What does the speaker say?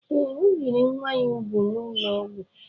Ee, o biri nwa ya úgwù n'ụlọ ọgwụ